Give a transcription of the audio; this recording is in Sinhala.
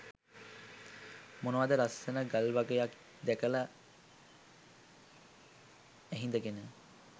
මොනවද ලස්‌සන ගල්වගයක්‌ දැකලා ඇහිඳගෙන